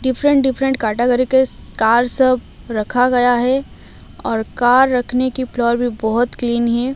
Different different category के car सब रखा गया है और कार रखने की फ्लोर भी बहुत क्लीन है।